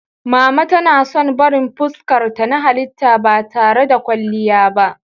Mama tana son barin fuskarta na halitta ba tare da kwalliya ba.